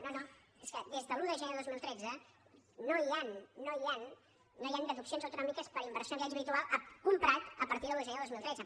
no no és que des de l’un de gener de dos mil tretze no hi han no hi han no hi han deduccions autonòmiques per inversió en habitatge habitual comprat a partir de l’un de gener del dos mil tretze